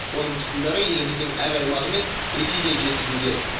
оның тұқымдары еліміздің әр аймағы мен ресейден жеткізілген